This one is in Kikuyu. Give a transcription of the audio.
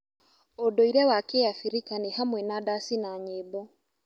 ũndũire wa Kĩabirika nĩ hamwe na ndaci na nyĩmbo.